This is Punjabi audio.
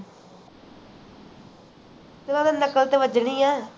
ਉਦਾ ਤੇ ਨਕਲ ਤੇ ਬਜਨੀ ਹੈ